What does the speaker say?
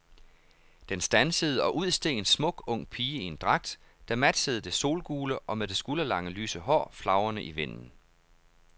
Den standsede og ud steg en smuk, ung pige i en dragt, der matchede det solgule, og med det skulderlange lyse hår flagrende i vinden.